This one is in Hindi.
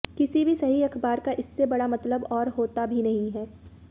किसी भी सही अखबार का इससे बड़ा मतलब और होता भी नहीं है